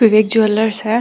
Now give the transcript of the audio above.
विवेक jewellers है।